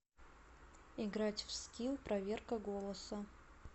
играть в скилл проверка голоса